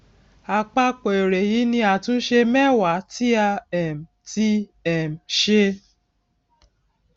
àpapọ èrè èyí ni àtúnṣe mẹwa tí a um ti um ṣe